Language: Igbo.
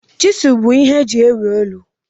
Chiselu bụ ihe eji ewu ụlọ.